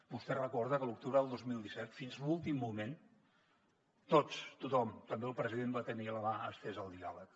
vostè recorda que a l’octubre del dos mil disset fins l’últim moment tots tothom també el president va tenir la mà estesa al diàleg